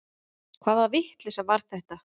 Hvaða vitleysa var þetta?